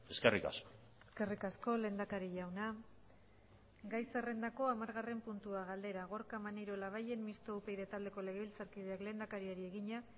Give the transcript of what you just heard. eskerrik asko eskerrik asko lehendakari jauna gai zerrendako hamargarren puntua galdera gorka maneiro labayen mistoa upyd taldeko legebiltzarkideak lehendakariari egina